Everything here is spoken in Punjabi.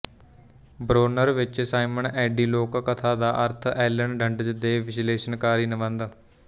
ਬ੍ਰੋਨਰ ਵਿਚ ਸਾਈਮਨ ਐਡੀ ਲੋਕਕਥਾ ਦਾ ਅਰਥ ਐਲਨ ਡੰਡਜ਼ ਦੇ ਵਿਸ਼ਲੇਸ਼ਣਕਾਰੀ ਨਿਬੰਧ